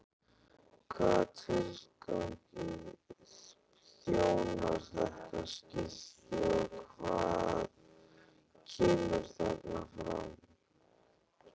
Hvaða tilgangi þjónar þetta skilti og hvað kemur þarna fram?